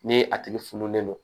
Ni a tigi fununen don